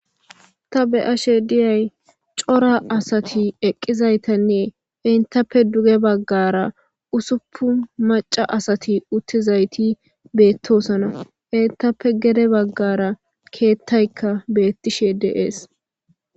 Ta be7ashe diyay cora asati eqqizaytanne intappe duge baggaara usuppun macca asati uttizayti beettoosona. Intappe gede baggara keettaykka beettishe de7ees.